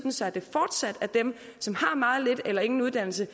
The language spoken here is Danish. så det fortsat er dem som har meget lidt eller ingen uddannelse